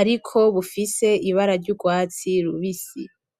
ariko bufise ibara ry'urwatsi rubisi.